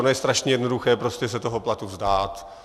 Ono je strašně jednoduché prostě se toho platu vzdát.